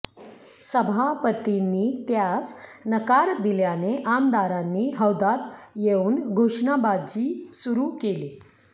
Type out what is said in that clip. सभापतींनी त्यास नकार दिल्याने आमदारांनी हौदात येऊन घोषणाबाजी सुरू केली